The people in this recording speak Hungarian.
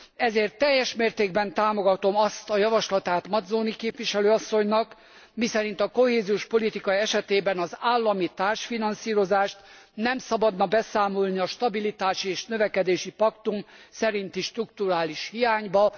Ezért teljes mértékben támogatom azt a javaslatát Mazzoni képviselő asszonynak, miszerint a kohéziós politika esetében az állami társfinanszírozást nem szabadna beszámolni a stabilitási és növekedési paktum szerinti strukturális hiányba.